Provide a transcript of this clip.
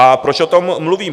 A proč o tom mluvím?